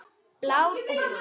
Blár og Brúnn.